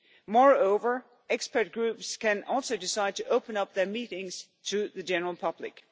Moreover, expert groups can also decide to open up their meetings to the general public.